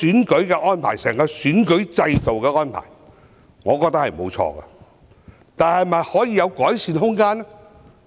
我覺得整個選舉制度的安排沒有錯，但有否改善的空間？